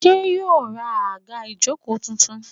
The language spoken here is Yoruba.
Ṣé yóò ra àga ìjókòó tuntun?